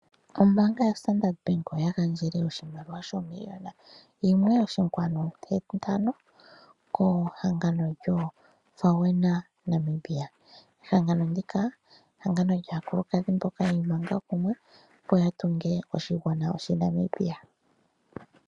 Ombaanga yoStandard Bank oya gandjele oshimaliwa shomiliyona yimwe oshinkwanu ntano kehangano lyoFAWENA Namibia. Ehangano ndika ehangano lyaakulukadhi mboka yi imanga kumwe, opo ya tunge oshigwana oshiNamibia.